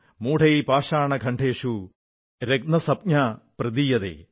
മൂഢൈഃ പാഷാണഖണ്ഡേഷു രത്നസംജ്ഞാ പ്രദീയതേ